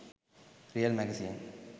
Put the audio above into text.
real magazine